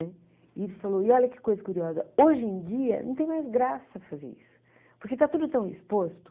E ele falou, e olha que coisa curiosa, hoje em dia não tem mais graça fazer isso, porque está tudo tão exposto.